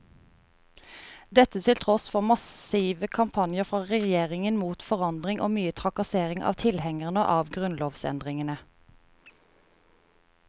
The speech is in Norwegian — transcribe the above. Dette til tross for massive kampanjer fra regjeringen mot forandring og mye trakassering av tilhengerne av grunnlovsendringene.